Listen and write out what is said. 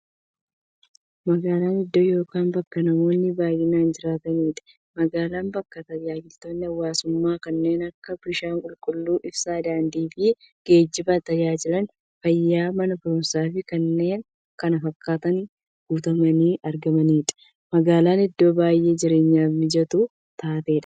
Magaalan iddoo yookiin bakka namoonni baay'inaan jiraataniidha. Magaalan bakka taajajilootni hawwaasummaa kanneen akka; bishaan qulqulluu, ibsaa, daandiifi geejjiba, taajajila fayyaa, Mana baruumsaafi kanneen kana fakkatan guutamanii argamaniidha. Magaalan iddoo baay'ee jireenyaf mijattuu taateedha.